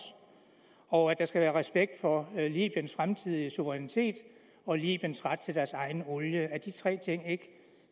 og at der skal være respekt for libyens fremtidige suverænitet og libyens ret til deres egen olie er de tre ting ikke